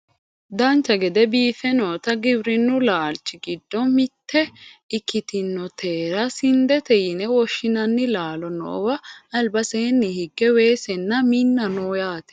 Dancha gede biiffe noota giwirinnu laalchi giddo mitte ikkitinotera sindete yine woshshinanni laalo noowa albaseenni higge weesenna minna no yaate